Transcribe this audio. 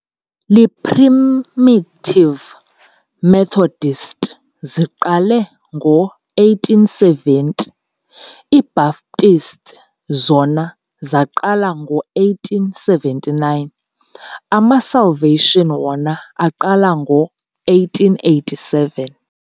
Iiprimitive Methodists ziqale ngo-1870, iBaptists zona zaqala ngo-1879, amaSalvation wona aqala ngo-1887.